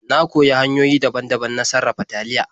Na koyi hanyoyi daban-daban na sarafa taliya.